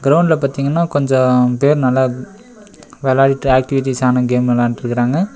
கிரவுண்ட்ல பாத்தீங்கன்னா கொஞ்சோ பேர் நல்லா வெளாடிட்டு ஆக்டிவிட்டீஸ்சான கேம் வெளாண்ட்ருக்காங்க.